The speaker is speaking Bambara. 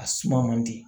A suma man di